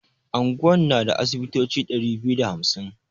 Anguwan na da asibitoci ɗari biyu da hamsin.